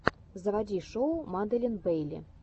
заводи шоу маделин бейли